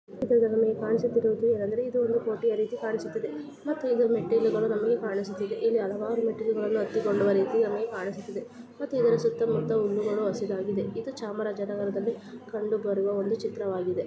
ಇದು ನಮಗೆ ಕಾಣಿಸುತ್ತಿರುವುದು ಅಂದ್ರೆ ಇದು ಒಂದು ಕೋಟೆಯ ರೀತಿ ಕಾಣಿಸುತ್ತಿದೆ ಮತ್ತು ಇದರ ಮೆಟ್ಟಿಲುಗಳು ನಮಗೆ ಕಾಣಿಸುತ್ತಿದೆಇಲ್ಲಿ ಹಲವಾರು ಮೆಟ್ಟಿಲುಗಳನ್ನು ಹತ್ತಿಕೊಂಡುವ ರೀತಿ ನಮಗೆ ಕಾಣಿಸುತ್ತಿದೆ ಮತ್ತು ಇದರ ಸುತ್ತಮುತ್ತ ಹುಲ್ಲುಗಳು ಹಸಿರಾಗಿದೆ ಇದು ಚಾಮರಾಜ ನಗರದಲ್ಲಿ ಕಂಡು ಬರುವ ಒಂದು ಚಿತ್ರವಾಗಿದೆ .